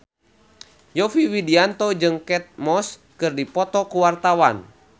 Yovie Widianto jeung Kate Moss keur dipoto ku wartawan